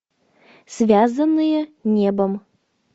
связанные небом